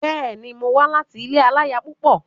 Bẹ́ẹ̀ni, mo wá láti ilé aláya púpọ̀.